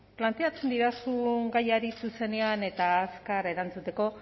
planteatzen didazu gaiari zuzenean eta azkar erantzuteko